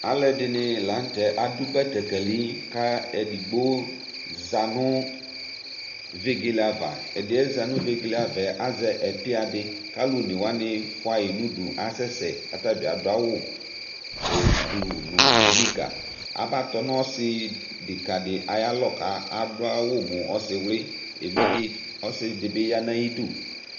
ɑluɛɖiṇilɑnutɛ ɑdω bɛtɛkéli ɛɗigbo zɑɲωvégeɑvɑ ɛɗiɛ zɑɲω vɛgéléɑvɑ ɑyé ɛpiɑɗi ƙɑluõnɛwɑɲi fuɑyi ɲωɗω kɑsɛsɛ ƙɑtɑbiɑɗωɑwω õkpi õnogɑ ɑbɑtɔ nõsiɗǝkɑḍi ɑyɑlɔ kɑɖωɑwω mω ɔsiwli ɔsiɗibiyɑ ɲɑyĩɗω